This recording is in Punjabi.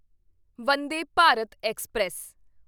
ਵੰਦੇ ਭਾਰਤ ਐਕਸਪ੍ਰੈਸ